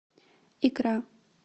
икра